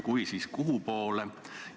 Kui on, siis kuhupoole?